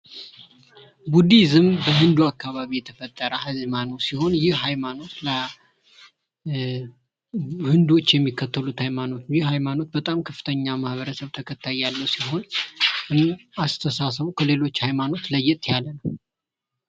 ቡዲዝም በህንዱ አካባቢ የተፈጠረ የሐይማኖት አይነት ሲሆን ይህ ሃይማኖት ህንዶች የሚከተሉት ሃይማኖት ነው። ይህ ሃይማኖት ከፍተኛ ማህበረሰብ ተከታይ ያለው ሲሆን እና አስተሳሰቡ ከሌሎች ሃይማኖት ለየት ያለ ነው።